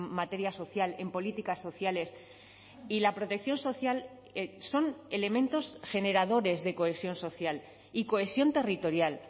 materia social en políticas sociales y la protección social son elementos generadores de cohesión social y cohesión territorial